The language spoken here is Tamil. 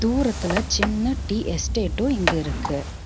தூரத்துல சின்ன டீ எஸ்டேட்டும் இங்க இருக்கு.